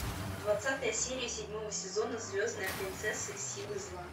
двадцатая серия седьмого сезона звездная принцесса и силы зла